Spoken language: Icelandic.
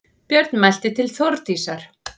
Björn mælti til Þórdísar